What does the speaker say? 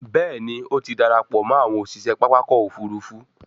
Béèni o tí darapọ̀ mọ àwọn òṣiṣẹ pápá ọkọ̀-òfurufú.